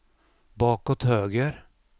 bakåt höger